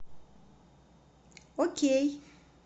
окей